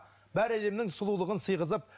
бар әлемнің сұлулығын сыйғызып